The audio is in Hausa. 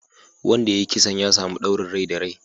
Wanda ya yi kisan ya samu ɗaurin rai da rai